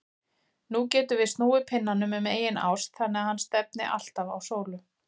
Nú getum við snúið pinnanum um eigin ás þannig að hann stefni alltaf á sólu.